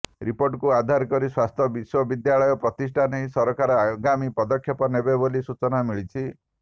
ରିପୋର୍ଟକୁ ଆଧାର କରି ସ୍ୱାସ୍ଥ୍ୟ ବିଶ୍ୱବିଦ୍ୟାଳୟ ପ୍ରତିଷ୍ଠା ନେଇ ସରକାର ଆଗାମୀ ପଦକ୍ଷେପ ନେବେ ବୋଲି ସୂଚନା ମିଳିଛି